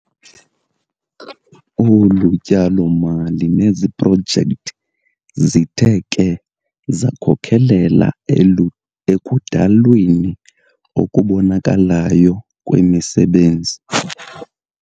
Olu tyalo-mali neziprojekthi zithe ke zakhokelela ekudalweni okubonakalayo kwemisebenzi.